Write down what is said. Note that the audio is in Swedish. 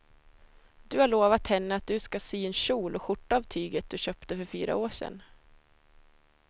Du har lovat henne att du ska sy en kjol och skjorta av tyget du köpte för fyra år sedan.